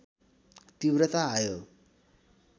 तीव्रता आयो